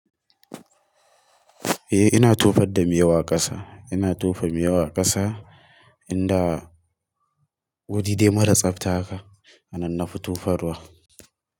Eh ina tofar da miyau a ƙasa. Ina tofa miyau a ƙasa, inda wuri dai mara tsafta haka, hana nafi tofar wa.